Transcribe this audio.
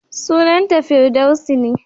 Sunanta Firdaus ne.